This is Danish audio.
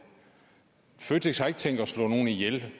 føtex har ikke tænkt sig at slå nogen ihjel